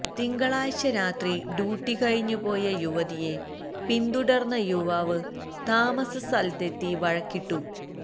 തിങ്കളാഴ്ച രാത്രി ഡ്യുട്ടി കഴിഞ്ഞ് പോയ യുവതിയെ പിന്തുടര്ന്ന യുവാവ് താമസസ്ഥലത്തെത്തി വഴക്കിട്ടു